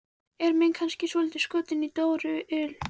Er minn kannski svolítið skotinn í Dóru il?